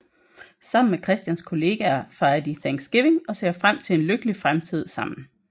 Sammen med Christians kollegaer fejrer de Thanksgiving og ser frem til en lykkelig fremtid sammen